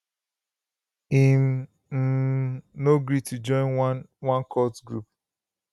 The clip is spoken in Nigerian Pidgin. im um no gree to join one one cult group